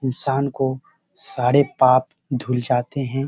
इंसान को सारे पाप धुल जाते हैं।